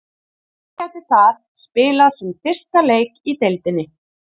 Hann gæti þar spilað sinn fyrsta leik í deildinni.